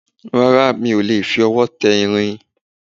Rárá, mi ò lè fi ọwọ́ tẹ irin